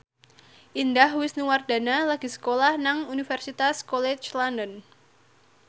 Indah Wisnuwardana lagi sekolah nang Universitas College London